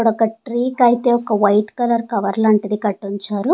అక్కడ ఒక ట్రీ కి అయితే ఒక వైట్ కలర్ కవర్ లాంటిది కట్టించారు.